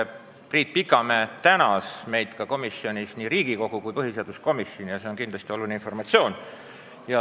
Nimelt, Priit Pikamäe tänas meid ka komisjonis, nii Riigikogu kui ka põhiseaduskomisjoni – see on kindlasti oluline informatsioon.